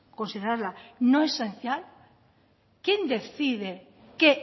considerarla no esencial quién decide qué